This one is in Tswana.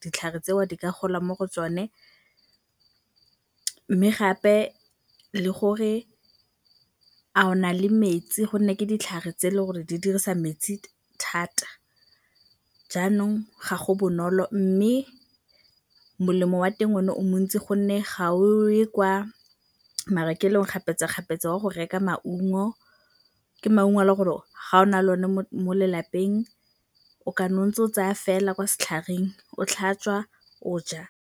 ditlhare tseo di ka gola mo go tsone. Mme gape le gore a o na le metsi gonne ke ditlhare tse e leng gore di dirisa metsi thata. Jaanong ga go bonolo, mme molemo wa teng o ne o montsi gonne ga o ye kwa marekelong kgapetsa-kgapetsa wa go reka maungo, ke maungo a le gore ga o na le o ne mo lelapeng o kana o ntse o tsaya fela kwa setlhareng o tlhatswa o ja.